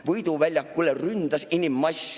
Võidu väljakule ründas inimmass.